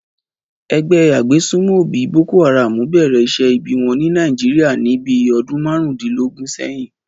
Ẹgbẹ́ agbésùmọ̀bí Boko Haram bẹ̀rẹ̀ iṣẹ́ ibi wọn ní Nàìjíríàni bí ọdún márùndínlógún sẹ́yìn